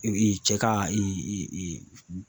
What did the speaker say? cɛ ka